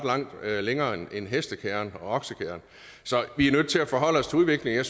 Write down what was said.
længere end hestekærren og oksekærren vi er nødt til at forholde os til udviklingen